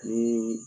Ni